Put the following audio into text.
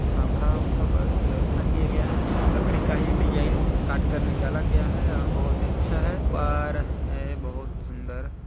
पंखा उनखा का व्यवस्था किया गया है लकड़ी का ही डिजाइन काट कर निकाला गया है और बहुत अच्छा है पर है बहुत सुंदर--